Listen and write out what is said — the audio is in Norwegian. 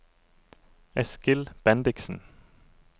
Eskil Bendiksen